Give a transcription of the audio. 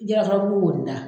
Jalakɔrɔbu wonin da.